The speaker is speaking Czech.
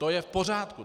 To je v pořádku.